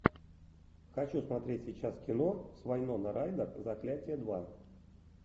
хочу смотреть сейчас кино с вайноной райдер заклятие два